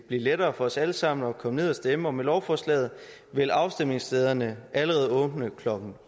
blive lettere for os alle sammen at komme ned og stemme og med lovforslaget vil afstemningsstederne allerede åbne klokken